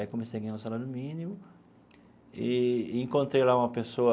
Aí comecei a ganhar o salário mínimo e encontrei lá uma pessoa